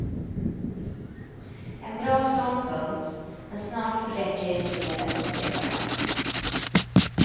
En bra ståndpunkt, men snart räcker det inte med att upprepa den.